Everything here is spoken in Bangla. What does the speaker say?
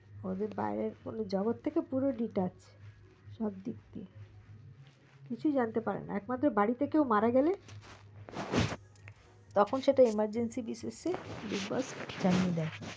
ওদের বাইরের জগৎ থেকে পুরো deduct সব দিক থেকে কিছু জানতে পারে না একমাত্র বাড়িতে কেও মারা গেলে তখন সেটা emergency basis big boss জানিয়ে দেয়